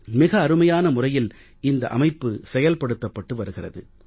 மிக அருமையான முறையில் இந்த அமைப்பு செயல்படுத்தப்பட்டு வருகிறது